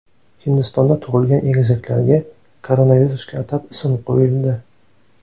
Hindistonda tug‘ilgan egizaklarga koronavirusga atab ism qo‘yildi.